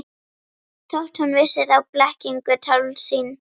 Þótt hún vissi þá blekkingu, tálsýn.